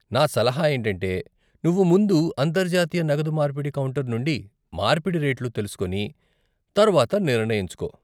నా సలహా ఏంటంటే, నువ్వు ముందు అంతర్జాతీయ నగదు మార్పిడి కౌంటర్ నుండి మార్పిడి రేట్లు తెలుసుకొని తర్వాత నిర్ణయించుకో.